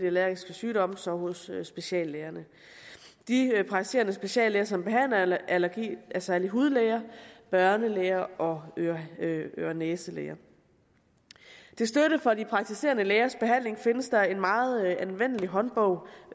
allergiske sygdomme er så hos speciallægerne de praktiserende speciallæger som behandler allergi er særlig hudlæger børnelæger og øre næse læger til støtte for de praktiserende lægers behandling findes der en meget anvendelig håndbog